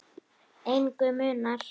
Engu munar.